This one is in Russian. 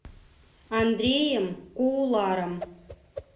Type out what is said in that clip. андреем кууларом